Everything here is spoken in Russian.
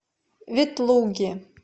ветлуги